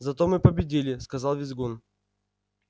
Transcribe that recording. зато мы победили сказал визгун